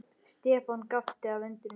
Stefán gapti af undrun.